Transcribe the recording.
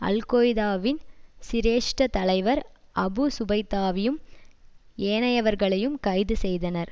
அல் Qaeda வின் சிரேஷ்ட தலைவர் அபு சுபய்தாவையும் ஏனையவர்களையும் கைது செய்தனர்